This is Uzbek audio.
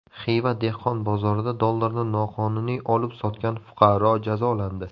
Xiva dehqon bozorida dollarni noqonuniy olib-sotgan fuqaro jazolandi.